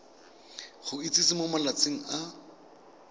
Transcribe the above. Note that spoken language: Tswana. go itsise mo malatsing a